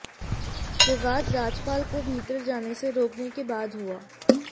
विवाद राजपाल को भीतर जाने से रोकने के बाद हुआ